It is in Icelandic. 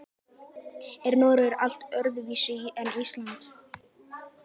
Er Noregur allt öðruvísi en Ísland?